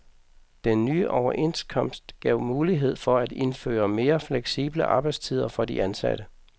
Den nye overenskomst gav mulighed for at indføre mere fleksible arbejdstider for de ansatte.